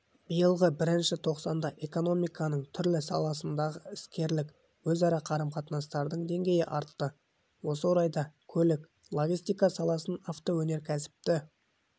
биылғы бірінші тоқсанда экономиканың түрлі саласындағы іскерлік өзара қарым-қатынастың деңгейі артты осы орайда көлік-логистика саласын автоөнеркәсіпті